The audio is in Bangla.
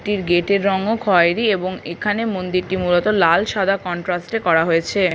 টির গেট -এর রং ও খয়রি এবং এখানে মন্দিরটি মূলত লাল সাদা কনট্রাস্ট - এ করা হয়েছে ।